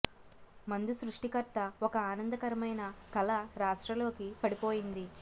మందు సృష్టికర్త ఒక ఆనందకరమైన కల రాష్ట్ర లోకి పడిపోయింది